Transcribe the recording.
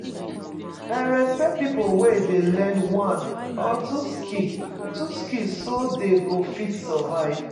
I respect people wey dey learn one or two skill two skill so they go fit survive